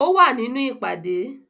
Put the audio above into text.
Ó wà nínú ìpàdé